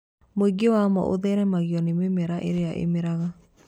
Mũingĩ wamo ũtheremagio nĩ mĩmera ĩrĩa ĩmeraga